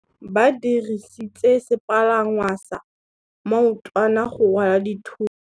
Ba dirisitse sepalangwasa maotwana go rwala dithôtô.